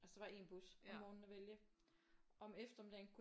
Altså der var én bus om morgenen at vælge om eftermiddagen kunne